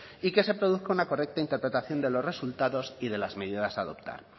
y que se produzca una correcta interpretación de los resultados y de las medidas a adoptar